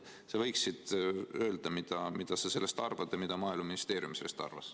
Sa võiksid öelda, mida sa sellest arvad ja mida Maaeluministeerium sellest arvas.